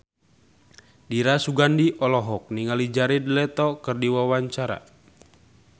Dira Sugandi olohok ningali Jared Leto keur diwawancara